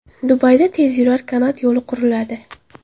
Dubayda tezyurar kanat yo‘li quriladi .